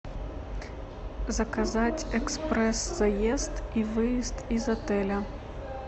заказать экспресс заезд и выезд из отеля